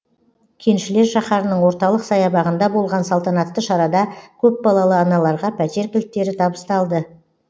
кеншілер шаһарының орталық саябағында болған салтанатты шарада көпбалалы аналарға пәтер кілттері табысталды